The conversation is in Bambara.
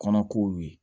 Kɔnɔkow ye